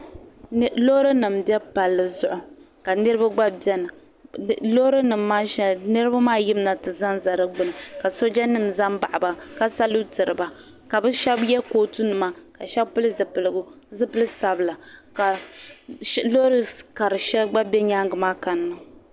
Loori nima n be palli zuɣu ka niriba gba biɛni loori nima maa sheli niriba maa yimima ti zanza di gbini ka sooja nima zambaɣi ba ka salutiri ba ka bɛ sheba ye kootu nima sheba pili zipiligu zipil sabla ka loori kari sheli gba be nyaanga kanna.